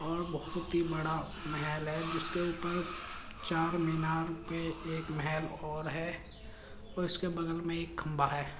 और बोहोत ही बड़ा महल है। जिस पे कि चारमीनार पे एक महल और है और उसके वगल में एक खम्भा है।